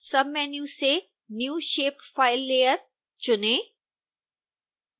submenu से new shapefile layer चुनें